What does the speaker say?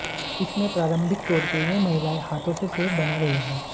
इसमें प्रारंभिक तौर पर ये महिलाएं हाथों से सेव बना रही हैं